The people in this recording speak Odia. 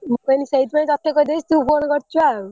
ମୁ କହିନୀ ସେଇଥିପାଇଁ ତତେ କହିଦେଇଛି ତୁ phone କରିଛୁ ଆଉ।